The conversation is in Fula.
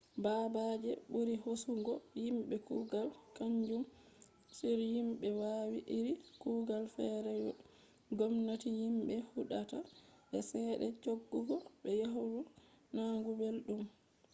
baabe je ɓuri hoosugo yimɓe kugal kaanjum on yimbe wawi iri kugal feere ngomnati yimɓe huɗata be ceede cooggu be yahdu nanugo belɗum